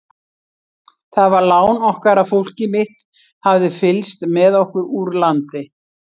Það var lán okkar að fólkið mitt hafði fylgst með okkur úr landi.